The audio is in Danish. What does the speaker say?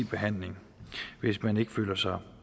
behandling hvis man ikke føler sig